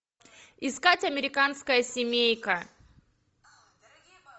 искать американская семейка